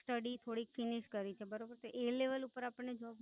Study થોડી Finish કરી છે બરોબર તો એ Level ઉપર આપણ ને Job